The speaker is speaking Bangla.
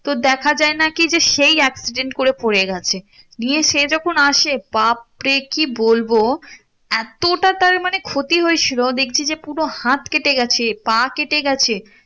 তো দেখা যায় নাকি সেই accident করে পরে গেছে নিয়ে সে যখন আসে বাপরে কি বলবো এতটা তার মানে ক্ষতি হয়েছিল দেখছি যে পুরো হাত কেটে গেছে পা কেটে গেছে